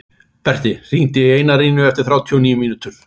Berti, hringdu í Einarínu eftir þrjátíu og níu mínútur.